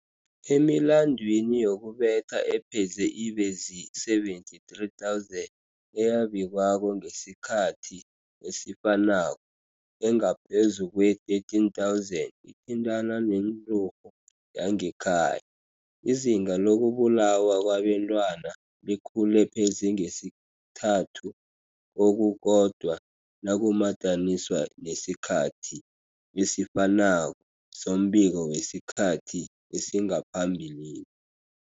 Emilandwini yokubetha epheze ibe zii-73 000 eyabikwako ngesikhathi esifanako, engaphezu kwee-13 000 ithintana nenturhu yangekhaya. Izinga lokubulawa kwabentwana likhule pheze ngesithathu kokukodwa nakumadaniswa nesikhathi esifanako sombiko wesikhathi esingaphambilini.